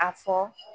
A fɔ